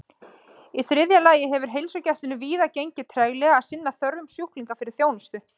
Í þriðja lagi hefur heilsugæslunni víða gengið treglega að sinna þörfum sjúklinga fyrir þjónustu.